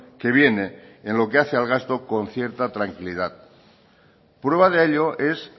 que viene en lo que hace al gasto con cierta tranquilidad prueba de ello es